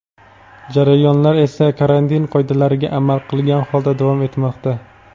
Jarayonlar esa karantin qoidalariga amal qilgan holda davom etmoqda.